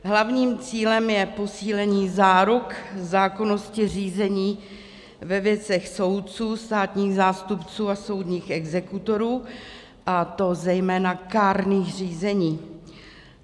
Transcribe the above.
Hlavním cílem je posílení záruk zákonnosti řízení ve věcech soudců, státních zástupců a soudních exekutorů, a to zejména kárných řízení.